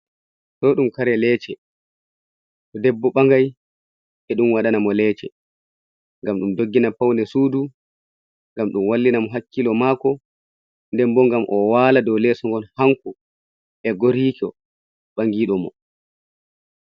Ɗo ɗum kare le"ce to ɗeɓɓo ɓangai ɓe ɗon waɗina mo le"ce ,ngam ɗum ɗoggina pawne suɗu ,ngam ɗum wallina mo hakkilo mako ,nɗen ɓo ngam o wala ɗow leso ngon hanko e goriko ɓangiɗo mo.